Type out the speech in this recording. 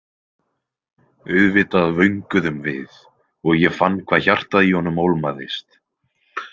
Auðvitað vönguðum við og ég fann hvað hjartað í honum ólmaðist.